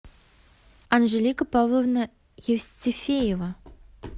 анжелика павловна евстифеева